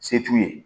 Se t'u ye